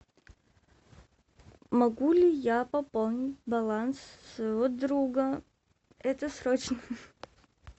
могу ли я пополнить баланс своего друга это срочно